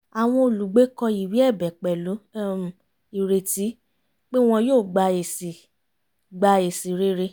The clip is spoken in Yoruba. àwọn olùgbé kọ ìwé ẹ̀bẹ̀ pẹ̀lú um ireti pé wọ́n yóò gba èsì gba èsì rere